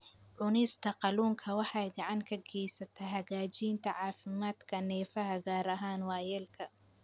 Cunista kalluunka waxay gacan ka geysataa hagaajinta caafimaadka neerfaha, gaar ahaan waayeelka.